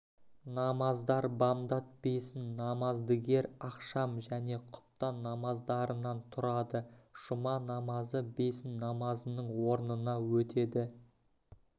намаздар бамдат бесін намаздыгер ақшам және құптан намаздарынан тұрады жұма намазы бесін намазының орнына өтеді